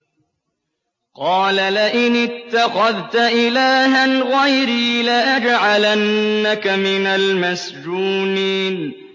قَالَ لَئِنِ اتَّخَذْتَ إِلَٰهًا غَيْرِي لَأَجْعَلَنَّكَ مِنَ الْمَسْجُونِينَ